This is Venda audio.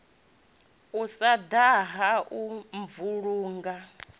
u sa daha u vhulunga